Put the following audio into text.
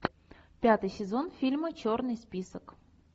пятый сезон фильма черный список